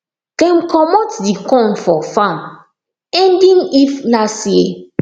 dem comot the corn for farm ending if last year